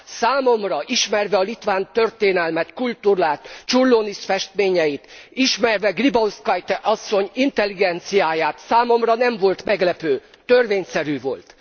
Számomra, ismerve a litván történelmet, kultúrát, Čiurlionis festményeit, ismerve Gribauskaite asszony intelligenciáját, számomra nem volt meglepő, törvényszerű volt.